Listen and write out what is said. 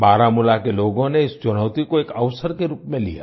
बारामूला के लोगों ने इस चुनौती को एक अवसर के रूप में लिया